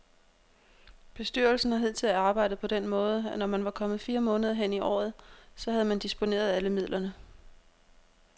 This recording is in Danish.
Bestyrelsen har hidtil arbejdet på den måde, at når man var kommet fire måneder hen i året, så havde man disponeret alle midlerne.